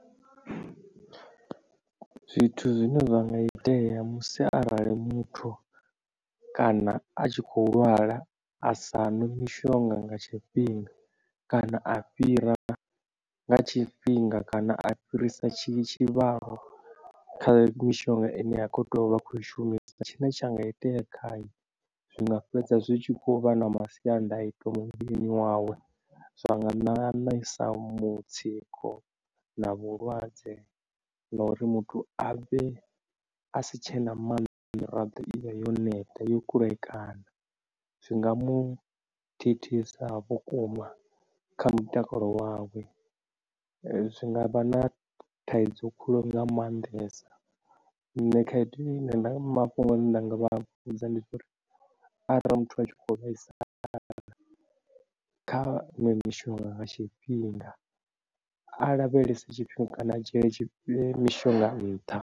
Zwithu zwine zwa nga itea musi arali muthu kana a tshi khou lwala a sa ṅwi mishonga nga tshifhinga kana a fhira nga tshifhinga kana a fhirisa tshi tshivhalo kha mishonga ine akho teya uvha a kho i shumisa, tshine tsha nga itea khae zwinga fhedza zwi tshi khou vha na masiandaitwa muvhilini wawe. Zwa nga ṋaṋisa mutsiko na vhulwadze na uri muthu a vhe a si tshena maanḓa miraḓo ivhe yo neta yo kulekana, zwi nga mu thithisa vhukuma kha mutakalo wawe, zwi ngavha na thaidzo khulu nga maanḓesa. Nṋe khaedu ine nda mafhungo nda nga vha vhudza ndi uri arali muthu a tshi kho vhaisala kha ṅwe mishonga nga tshifhinga a lavhelese tshifhinga kana a dzhiele mishonga nṱha.